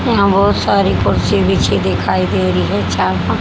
यहां बहुत सारी कुर्सी बिछी दिखाई दे रही है चार पांच।